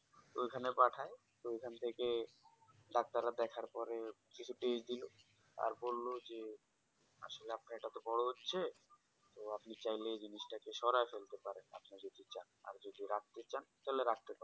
তো ওখানে পাঠায় তো ওখান থেকে Doctor রা দেখার পরে কিছু Test দিলো আর বললো যে আসলে আপনার তো এটা বোরো হচ্ছে তো আপনি চাইলে এই জিনিসটা সরাই ফেলতে পারেন আপনি যদি চান আর যদি রাখতে চান তাহলে রাখতে পারেন